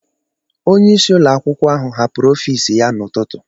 Onyeisi ụlọakwụkwọ ahụ hapụrụ ọfiisi ya n'ụtụtụ.